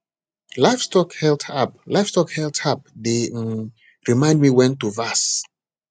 livestock health app livestock health app dey um remind me when to vac